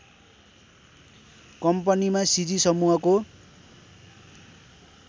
कम्पनीमा सिजी समूहको